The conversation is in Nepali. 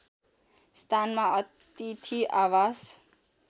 स्थानमा अथिति आवास